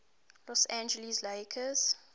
los angeles lakers